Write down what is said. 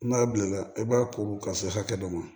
N'a bilenna i b'a kuru ka se hakɛ dɔ ma